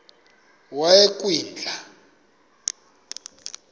yasekwindla